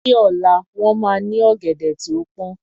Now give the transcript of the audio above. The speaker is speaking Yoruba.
Ní ọ̀la, wọ́n máa ní ọ̀gẹ̀dẹ̀ tí ó pọn